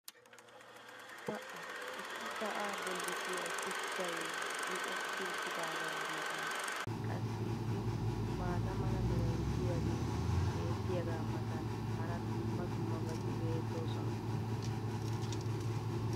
pa"a! issi sa"aa bolli diyaa shuchchay micetti uttidaagaa matan qassi issi maata mala meray diyaagee beetiyaagaa matan hara dumma dummabati beettoosona.